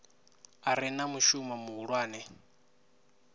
a re na mushumo muhulwane